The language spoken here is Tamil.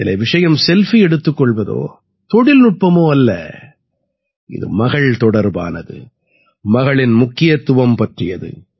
இதிலே விஷயம் செல்ஃபி எடுத்துக் கொள்வதோ தொழில்நுட்பமோ அல்ல இது மகள் தொடர்பானது மகளின் முக்கியத்துவம் பற்றியது